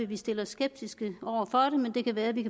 vi stille os skeptiske over